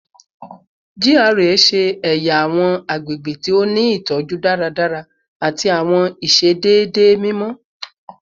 GRA ṣe ẹya awọn agbegbe ti o ni itọju daradara ati awọn iṣedede mimọ